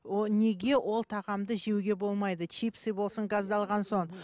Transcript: о неге ол тағамды жеуге болмайды чипсы болсын